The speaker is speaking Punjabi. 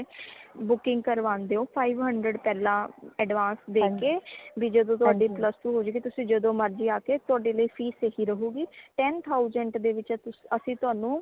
booking ਕਰਵਾਂਦੇ ਹੋ five hundred ਪਹਿਲਾ advance ਦੇ ਕੇ ਭੀ ਜਦੋ ਤੁਆੜੀ plus two ਹੋ ਜੇ ਗੀ ਤੁਸੀ ਜਦੋ ਮਰਜ਼ੀ ਆਕੇ ਤੁਆਡੇ ਲਈ ਫੀਸ ਏਹੀ ਰਹੂਗੀ ten thousand ਦੇ ਵਿਚ ਅਸੀਂ ਅਸੀਂ ਤੁਹਾਨੂੰ